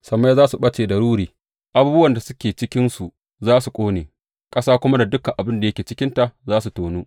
Sammai za su ɓace da ruri, abubuwan da suke cikinsu za su ƙone, ƙasa kuma da dukan abin da yake cikinta za su tonu.